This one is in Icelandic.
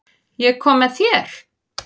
Ég kom með þér.